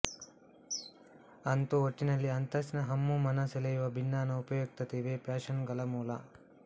ಅಂತೂ ಒಟ್ಟಿನಲ್ಲಿ ಅಂತಸ್ತಿನ ಹಮ್ಮು ಮನ ಸೆಳೆಯುವ ಬಿನ್ನಾಣ ಉಪಯುಕ್ತತೆ ಇವೇ ಫ್ಯಾಷನ್ನುಗಳ ಮೂಲ